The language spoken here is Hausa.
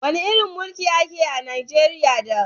Wani irin mulki a ka yi a Najeriya da?